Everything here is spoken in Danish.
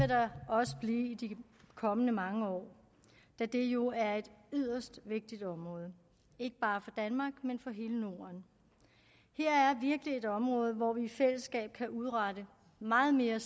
der også blive i de kommende mange år da det jo er et yderst vigtigt område ikke bare for danmark men for hele norden her er virkelig et område hvor vi i fællesskab kan udrette meget mere